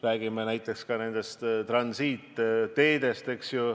Räägime ka näiteks nendest transiitteedest.